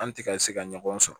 An ti ka ka ɲɔgɔn sɔrɔ